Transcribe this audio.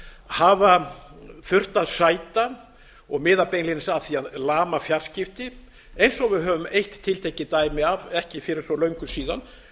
hafa þurft að sæta og miða beinlínis að því að lama fjarskipti eins og við höfum eitt tiltekið dæmi af ekki fyrir svo löngu síðan